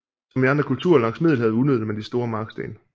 Som i andre kulturer langs Middelhavet udnyttede man de store marksten